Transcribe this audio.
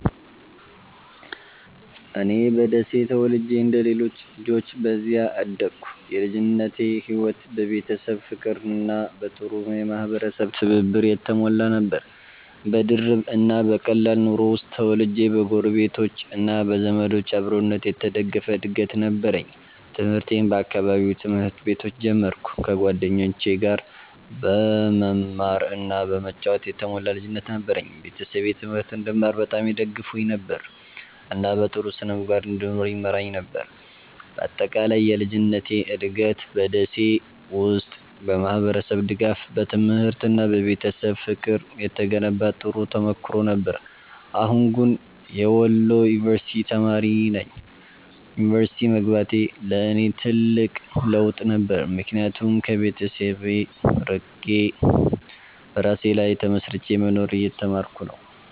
እኔ በደሴ ተወልጄ እንደ ሌሎች ልጆች በዚያ አደግኩ። የልጅነቴ ሕይወት በቤተሰብ ፍቅርና በጥሩ የማህበረሰብ ትብብር የተሞላ ነበር። በድርብ እና በቀላል ኑሮ ውስጥ ተወልጄ በጎረቤቶች እና በዘመዶች አብሮነት የተደገፈ እድገት ነበረኝ። ትምህርቴን በአካባቢው ትምህርት ቤቶች ጀመርኩ፣ ከጓደኞቼ ጋር በመማር እና በመጫወት የተሞላ ልጅነት ነበረኝ። ቤተሰቤ ትምህርት እንድማር በጣም ይደግፉኝ ነበር፣ እና በጥሩ ስነ-ምግባር እንድኖር ይመራኝ ነበር። በአጠቃላይ የልጅነቴ እድገት በ ደሴ ውስጥ በማህበረሰብ ድጋፍ፣ በትምህርት እና በቤተሰብ ፍቅር የተገነባ ጥሩ ተሞክሮ ነበር። አሁን ግን የወሎ ዩንቨርስቲ ተማሪ ነኝ። ዩኒቨርሲቲ መግባቴ ለእኔ ትልቅ ለውጥ ነበር፣ ምክንያቱም ከቤተሰብ ርቄ በራሴ ላይ ተመስርቼ መኖርን እየተማርኩ ነው።